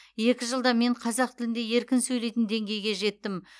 екі жылда мен қазақ тілінде еркін сөйлейтін деңгейге жеттім